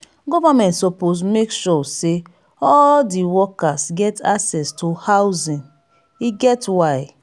government suppose make sure sey all di workers get access to housing e get why.